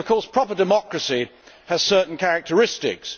Of course, proper democracy has certain characteristics.